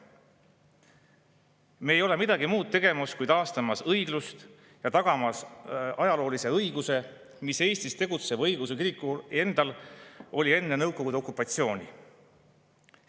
Me ei ole tegemas midagi muud kui taastamas õiglust ja tagamas ajaloolist õigust, mis valitses Eestis tegutseva õigeusu kiriku suhtes enne Nõukogude okupatsiooni.